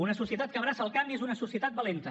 una societat que abraça el canvi és una societat valenta